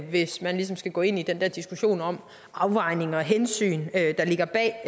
hvis man ligesom skal gå ind i den der diskussion om afvejning og hensyn der ligger bag